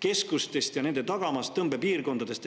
keskustest ja nende tagamaast, tõmbepiirkondadest.